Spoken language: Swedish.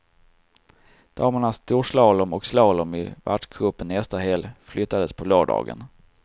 Damernas storslalom och slalom i världscupen nästa helg flyttades på lördagen.